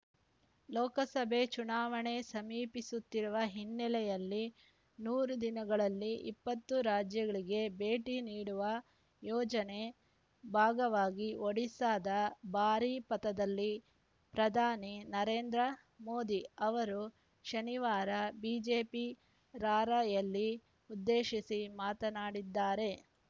ಲೋಕಸಭೆ ಚುನಾವಣೆ ಸಮೀಪಿಸುತ್ತಿರುವ ಹಿನ್ನೆಲೆಯಲ್ಲಿ ನೂರು ದಿನಗಳಲ್ಲಿ ಇಪ್ಪತ್ತು ರಾಜ್ಯಗಳಿಗೆ ಭೇಟಿ ನೀಡುವ ಯೋಜನೆ ಭಾಗವಾಗಿ ಒಡಿಶಾದ ಬಾರಿಪದದಲ್ಲಿ ಪ್ರಧಾನಿ ನರೇಂದ್ರ ಮೋದಿ ಅವರು ಶನಿವಾರ ಬಿಜೆಪಿ ರಾರ‍ಯಲಿ ಉದ್ದೇಶಿಸಿ ಮಾತನಾಡಿದ್ದಾರೆ